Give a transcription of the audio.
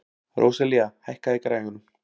Róselía, hækkaðu í græjunum.